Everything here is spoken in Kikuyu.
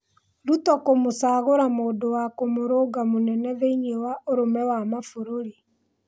Ruto kũmũcagũra mũndũwa kũmũrũnga mũnene thĩiniĩ wa ũrũmwe wa mabũrũrĩ.